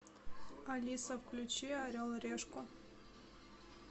алиса включи орел и решку